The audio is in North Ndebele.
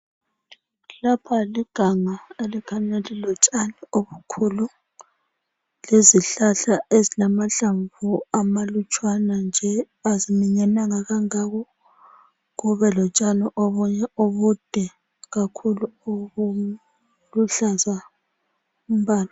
Lapha liganga elikhanya lilotshani obukhulu, lezihlahla ezilamahlamvu amalutshwana nje, aziminyananga kangako .Kube lotshani obunye obude kakhulu obuluhlaza umbala.